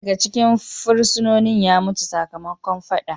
Daya daga cikin fursunonin ya mutu sakamakon fadan.